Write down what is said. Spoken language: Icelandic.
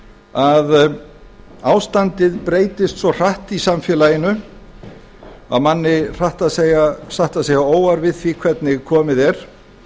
að ástandið breytist svo hratt í samfélaginu að manni hratt að segja óar við því hvernig komið er